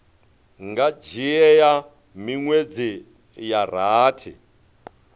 nga dzhia miṅwedzi ya rathi